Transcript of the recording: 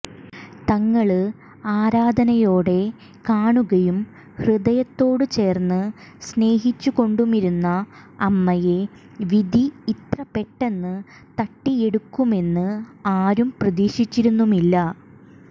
തങ്ങള് ആരാധനയോടെ കാണുകയും ഹൃദയത്തോട് ചേര്ന്ന് സ്നേഹിച്ചുകൊണ്ടുമിരുന്ന അമ്മയെ വിധി ഇത്ര പെട്ടെന്ന് തട്ടിയെടുക്കുമെന്ന് ആരും പ്രതീക്ഷിച്ചിരുന്നുമില്ല